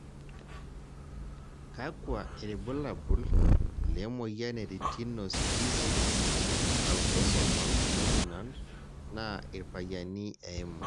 kakua irbulabol le moyian e Retinoschisis autosomal dominant naa irpayian eimu?